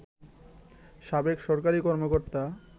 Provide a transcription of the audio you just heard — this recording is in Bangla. সাবেক সরকারি কর্মকর্তা